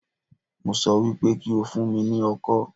Mo sọ wípé kí o fún mi ní ọkọ́